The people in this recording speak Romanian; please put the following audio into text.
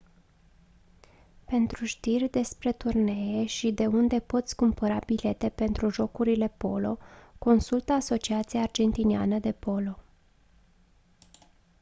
pentru știri despre turnee și de unde poți cumpăra bilete pentru jocurile polo consultă asociația argentiniană de polo